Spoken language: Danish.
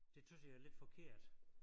Det tøs jeg er lidt forkert